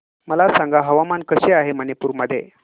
मला सांगा हवामान कसे आहे मणिपूर मध्ये